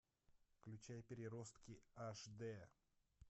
включай переростки аш дэ